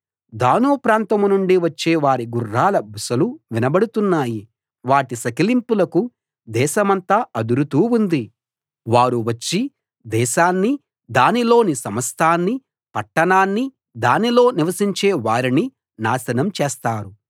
దాను ప్రాంతం నుండి వచ్చే వారి గుర్రాల బుసలు వినబడుతున్నాయి వాటి సకిలింపులకు దేశమంతా అదురుతూ ఉంది వారు వచ్చి దేశాన్ని దానిలోని సమస్తాన్ని పట్టణాన్ని దానిలో నివసించే వారిని నాశనం చేస్తారు